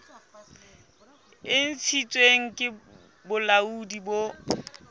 e ntshitsweng ke bolaodi bo